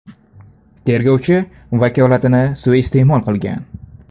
Tergovchi vakolatini suiiste’mol qilgan.